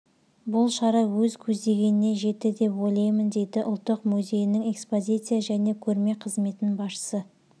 бұл шара өз көздегеніне жетті деп ойлаймын дейді ұлттық музейінің экспозиция және көрме қызметінің басшысы